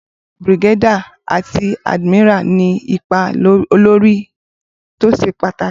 Brigadier àti admiral ní ipa olórí tó ṣe pàtàkì.